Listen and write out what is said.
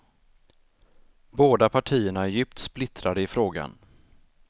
Båda partierna är djupt splittrade i frågan.